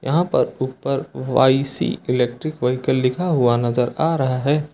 यहां पर ऊपर वाई सी इलेक्ट्रिक व्हीकल लिखा हुआ नजर आ रहा है।